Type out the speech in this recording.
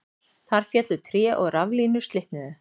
Þar féllu tré og raflínur slitnuðu